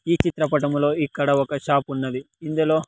ఈ చిత్రపటంలో ఇక్కడ ఒక షాప్ ఉన్నది ఇందులో.